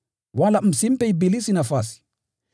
wala msimpe ibilisi nafasi.